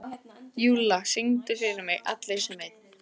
Júlla, syngdu fyrir mig „Allir sem einn“.